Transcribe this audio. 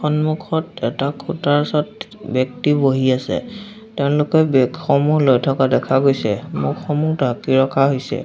সন্মুখত এটা খুঁটাৰ ব্যক্তি বহি আছে তেওঁলোকে বেগসমূহ লৈ থকা দেখা গৈছে মুখসমূহ ঢাকি ৰখা হৈছে।